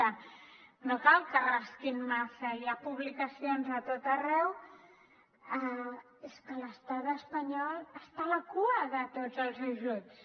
no cal que rasquin massa hi ha publicacions a tot arreu és que l’estat espanyol està a la cua de tots els ajuts